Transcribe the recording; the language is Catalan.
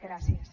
gràcies